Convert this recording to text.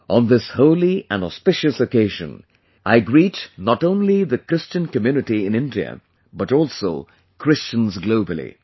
On this holy and auspicious occasion, I greet not only the Christian Community in India, but also Christians globally